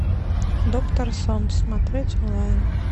доктор сон смотреть онлайн